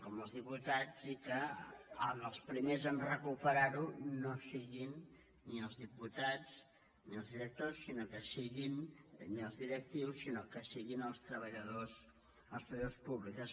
com els diputats i que els primers a recuperar ho no siguin ni els diputats ni els directors ni els directius sinó que siguin els treballadors públics